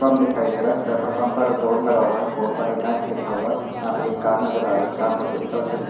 pump दिखाई दे रहा हैं पेट्रोल पम्प पर बोर्ड लगा हुआ है | बोर्ड पर रिलायंस लिखा हुआ है | यहाँ पर एक कार नजर आ रही कार सफेद कलर --